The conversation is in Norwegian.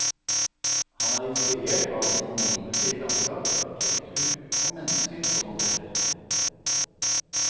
Han er inspirert av sine omgivelser i landskap, arkitektur og mennesker som han treffer.